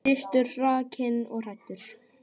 Kristur hrakinn og hæddur.